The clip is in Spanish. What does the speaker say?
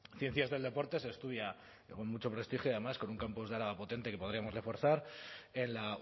ciencias del deporte se estudia con mucho prestigio además con un campus de araba potente que podríamos reforzaren la